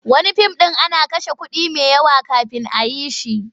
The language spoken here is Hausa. Wani fim ɗin ana kashe kuɗi mai yawa kafin a yi shi.